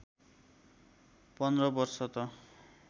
१५ वर्ष त